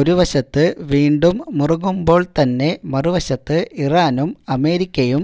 ഒരു വശത്ത് വീണ്ടും മറുകുമ്പോൾ തന്നെ മറുവശത്ത് ഇറാനും അമേരിക്കയു